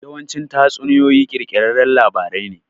Yawanci tatsuniyoyi ƙirƙirarran labarai ne.